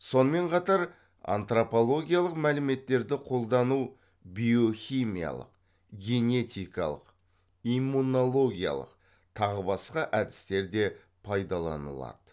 сонымен қатар антропологиялық мәліметтерді қолдану биохимиялық генетикалық иммунологиялық тағы басқа әдістер де пайдаланылады